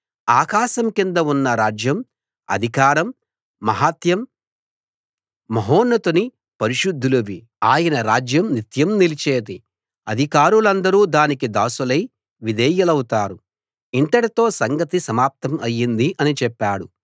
ఆకాశం కింద ఉన్న రాజ్యం అధికారం మహాత్మ్యం మహోన్నతుని పరిశుద్ధులవి ఆయన రాజ్యం నిత్యం నిలిచేది అధికారులందరూ దానికి దాసులై విధేయులౌతారు ఇంతటితో సంగతి సమాప్తం అయింది అని చెప్పాడు